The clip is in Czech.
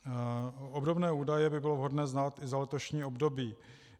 Obdobné údaje by bylo vhodné znát i za letošní období.